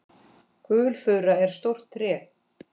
Gulfura er stórt tré.